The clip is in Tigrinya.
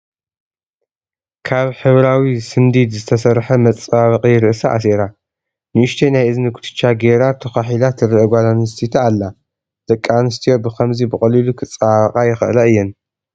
ካብ ሕብራዊ ስንዲድ ዝተሰርሐ መፀባበቒ ርእሳ ኣሲራ ፣ ንኡሽተይ ናይ እዝኒ ኩትቻ ገይራ ተዃሒላ ትርአ ጓል ኣነስተይቲ ኣላ፡፡ ደቂ ኣንስትዮ ብኽምዚ ብቐሊሉ ክፀባበቓ ይኽእላ እየን፡፡